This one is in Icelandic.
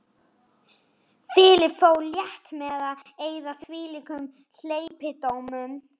Philip fór létt með að eyða þvílíkum hleypidómum.